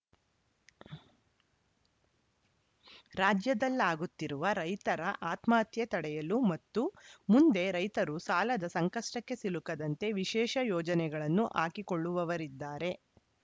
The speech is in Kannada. ರಾಜ್ಯದಲ್ಲಾಗುತ್ತಿರುವ ರೈತರ ಆತ್ಮಹತ್ಯೆ ತಡೆಯಲು ಮತ್ತು ಮುಂದೆ ರೈತರು ಸಾಲದ ಸಂಕಷ್ಟಕ್ಕೆ ಸಿಲುಕದಂತೆ ವಿಶೇಷ ಯೋಜನೆಗಳನ್ನು ಹಾಕಿಕೊಳ್ಳುವವರಿದ್ದಾರೆ